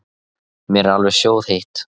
Mér er alveg sjóðheitt.